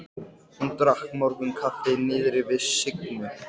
Hún drakk morgunkaffi niðri við Signu.